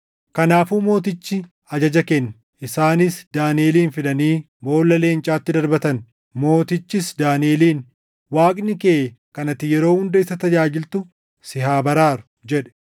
Kanaafuu mootichi ajaja kenne; isaanis Daaniʼelin fidanii boolla leencaatti darbatan. Mootichis Daaniʼeliin, “Waaqni kee kan ati yeroo hunda isa tajaajiltu si haa baraaru!” jedhe.